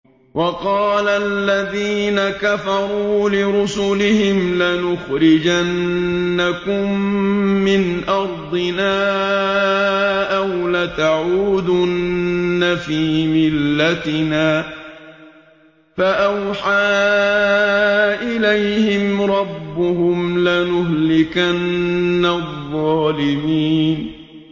وَقَالَ الَّذِينَ كَفَرُوا لِرُسُلِهِمْ لَنُخْرِجَنَّكُم مِّنْ أَرْضِنَا أَوْ لَتَعُودُنَّ فِي مِلَّتِنَا ۖ فَأَوْحَىٰ إِلَيْهِمْ رَبُّهُمْ لَنُهْلِكَنَّ الظَّالِمِينَ